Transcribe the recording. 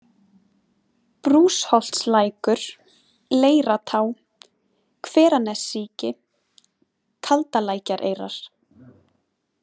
Brúsholtslækur, Leiratá, Hveranessíki, Kaldalækjareyrar